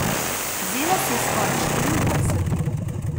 Vzela si je skoraj štiriindvajset ur.